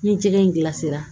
Ni jɛgɛ in gilasira